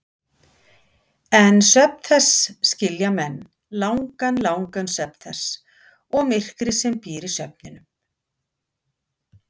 En svefn þess skilja menn, langan, langan svefn þess og myrkrið sem býr í svefninum.